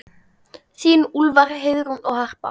Þín Úlfar, Heiðrún og Harpa.